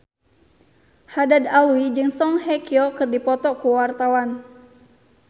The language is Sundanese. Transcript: Haddad Alwi jeung Song Hye Kyo keur dipoto ku wartawan